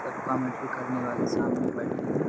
सब कमेंटरी करने वाले सामने बैठे है।